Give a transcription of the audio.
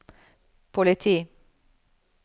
politi